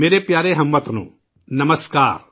30 مئی میرے پیارے ہم وطنوں ، نمسکار